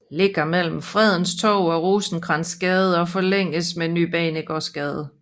Ligger mellem Fredens Torv og Rosenkrantzgade og forlænges med Ny Banegårdsgade